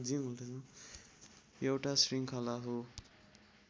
एउटा शृङ्खला हो